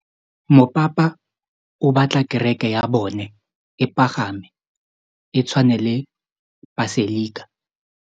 Mopapa o batla kereke ya bone e pagame, e tshwane le paselika.